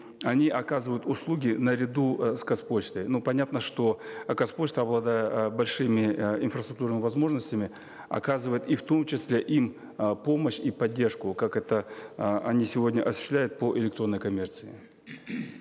они оказывают услуги наряду э с казпочтой ну понятно что э казпочта обладает э большими э инфраструктурными возможностями оказывать и в том числе им э помощь и поддержку как это э они сегодня осуществляют по электронной коммерции